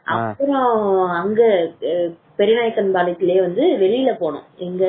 அப்புறம் பெரியநாயக்கன் பெரியநாயக்கன்பாளையிலேயே வந்து எங்கேயோ வெளியே போனோம்